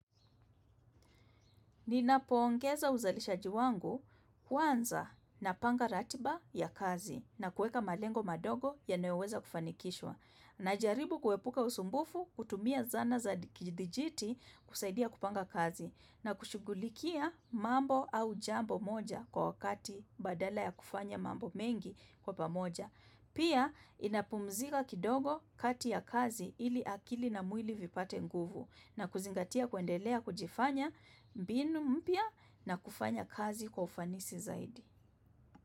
Ninapo ongeza uzalishaji wangu kwanza napanga ratiba ya kazi na kuweka malengo madogo yanayoweza kufanikishwa. Najaribu kuepuka usumbufu kutumia zana za dijiti kusaidia kupanga kazi na kushughulikia mambo au jambo moja kwa wakati badala ya kufanya mambo mengi kwa pamoja. Pia nina pumzika kidogo kati ya kazi ili akili na mwili vipate nguvu na kuzingatia kuendelea kujifanya mbinu mpya na kufanya kazi kwa ufanisi zaidi.